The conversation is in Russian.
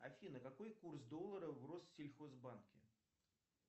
афина какой курс доллара в россельхозбанке